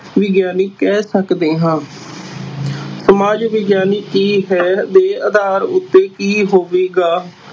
ਵਿਗਿਆਨੀ ਕਹਿ ਸਕਦੇ ਹਾਂ ਸਮਾਜ ਵਿਗਿਆਨ ਕੀ ਹੈ ਦੇ ਆਧਾਰ ਉੱਤੇ ਕੀ ਹੋਵੇਗਾ।